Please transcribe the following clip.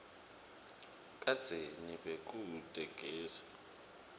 kadzeni bekute gesi